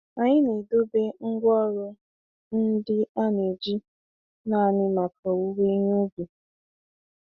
Anyị na-edobe ngwaọrụ ndị a na-eji naanị maka owuwe ihe ubi.